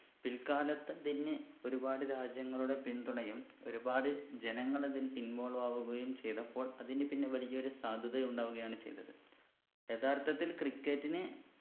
പില്‍ക്കാലത്ത് അതിന് ഒരുപാട് രാജ്യങ്ങളുടെ പിന്തുണയും ഒരുപാട് ജനങ്ങൾ അതിൽ involve ആവുകയും ചെയ്തപ്പോൾ അതിന് പിന്നെ വലിയ ഒരു സാധ്യത ഉണ്ടാവുകയാണ് ചെയ്തത് യഥാർത്ഥത്തിൽ cricket ന്